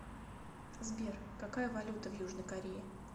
сбер какая валюта в южной корее